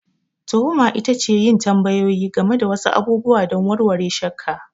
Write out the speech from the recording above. Tuhuma ita ce yin tambayoyi game da wasu abubuwa don warware shakka.